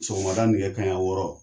Sɔgɔmada nɛgɛ kaɲɛ wɔɔrɔ.